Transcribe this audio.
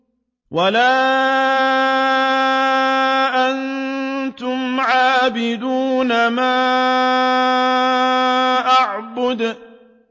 وَلَا أَنتُمْ عَابِدُونَ مَا أَعْبُدُ